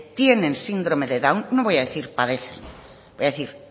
tiene síndrome de down no voy a decir padecen voy a decir